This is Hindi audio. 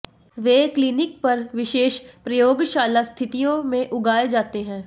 वे क्लिनिक पर विशेष प्रयोगशाला स्थितियों में उगाए जाते हैं